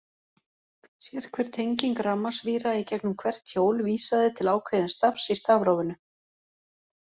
Sérhver tenging rafmagnsvíra í gegnum hvert hjól vísaði til ákveðins stafs í stafrófinu.